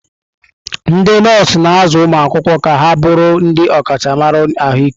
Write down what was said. Ndị nọọsụ na-azụ ụmụ akwụkwọ ka ha bụrụ ndị ọkachamara ahụike.